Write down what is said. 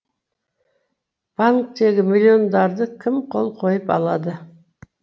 банктегі миллиондарды кім қол қойып алады